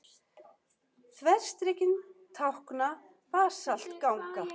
Þverstrikin tákna basaltganga.